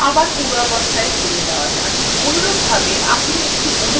আবার পূর্বাবস্থায় ফিরে আসা যাক